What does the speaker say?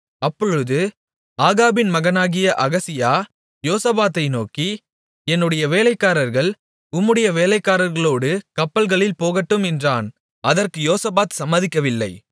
அப்பொழுது ஆகாபின் மகனாகிய அகசியா யோசபாத்தை நோக்கி என்னுடைய வேலைக்காரர்கள் உம்முடைய வேலைக்காரர்களோடு கப்பல்களில் போகட்டும் என்றான் அதற்கு யோசபாத் சம்மதிக்கவில்லை